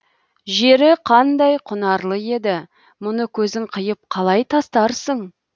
жері қандай құнарлы еді мұны көзің қиып қалай тастарсың